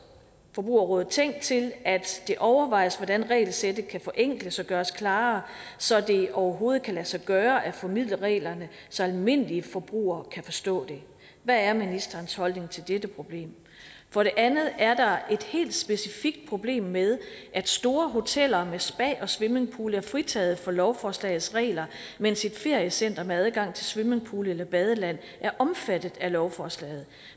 forbrugerrådet tænk opfordrer til at det overvejes hvordan regelsættet kan forenkles og gøres klarere så det overhovedet kan lade sig gøre at formidle reglerne så almindelige forbrugere kan forstå dem hvad er ministerens holdning til dette problem for det andet er der et helt specifikt problem med at store hoteller med spa og swimmingpool er fritaget fra lovforslagets regler mens et feriecenter med adgang til swimmingpool eller badeland er omfattet af lovforslaget